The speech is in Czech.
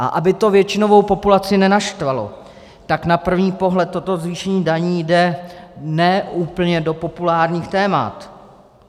A aby to většinovou populaci nenaštvalo, tak na první pohled toto zvýšení daní jde ne úplně do populárních témat.